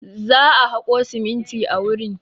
Za a haƙo siminti a wurin.